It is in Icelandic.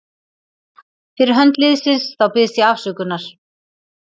Fyrir hönd liðsins þá biðst ég afsökunar.